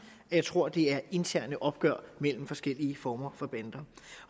jeg tror at det er interne opgør mellem forskellige former for bander